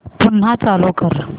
पुन्हा चालू कर